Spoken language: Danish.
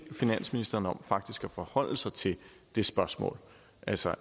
finansministeren om faktisk at forholde sig til det spørgsmål altså